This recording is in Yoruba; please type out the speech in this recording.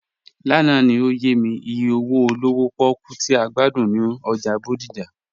Lánà ni ọ̀yẹ̀ mi ìyẹ̀ owo olówò pòkú tì a gbàdún ni ọ́jà Bódìjà.